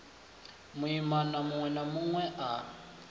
muimana munwe na munwe a